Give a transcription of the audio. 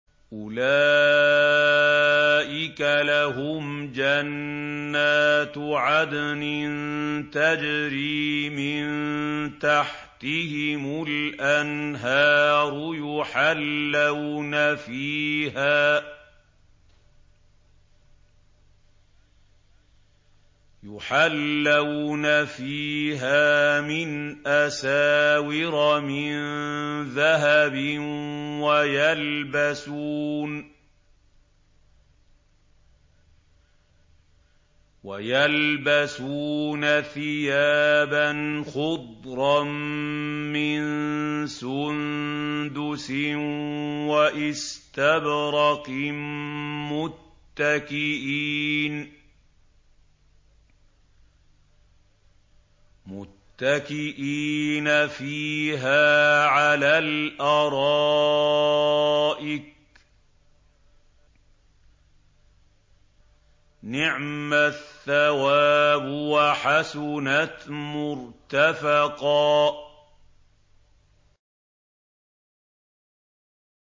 أُولَٰئِكَ لَهُمْ جَنَّاتُ عَدْنٍ تَجْرِي مِن تَحْتِهِمُ الْأَنْهَارُ يُحَلَّوْنَ فِيهَا مِنْ أَسَاوِرَ مِن ذَهَبٍ وَيَلْبَسُونَ ثِيَابًا خُضْرًا مِّن سُندُسٍ وَإِسْتَبْرَقٍ مُّتَّكِئِينَ فِيهَا عَلَى الْأَرَائِكِ ۚ نِعْمَ الثَّوَابُ وَحَسُنَتْ مُرْتَفَقًا